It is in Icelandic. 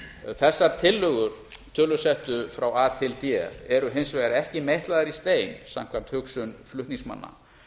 þessar tillögur tölusettu frá a til d eru hins vegar ekki meitlaðar í stein samkvæmt hugsun flutningsmanna